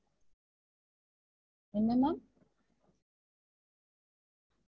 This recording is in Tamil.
என்ன ma'am?